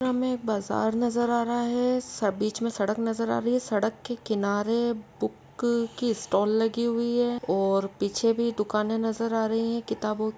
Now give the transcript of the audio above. सामने एक बाजार नजर आ रहा है सब बीच मे सड़क नजर आ रही है सड़क के किनारे बुक की स्टाल लगी हुई है और पीछे भी दुकाने नजर आ रही हैं किताबों --